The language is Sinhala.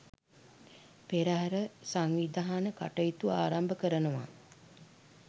පෙරහර සංවිධාන කටයුතු ආරම්භ කරනවා.